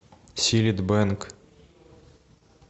силит бэнг